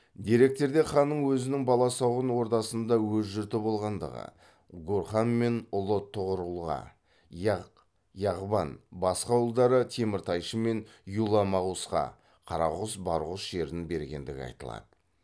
деректерде ханның өзінің баласағұн ордасында өз жұрты болғандығы гурхан мен ұлы тұғырұлға яғ яғбан басқа ұлдары теміртайшы мен юла магусқа қарағұс барғұс жерін бергендігі айтылады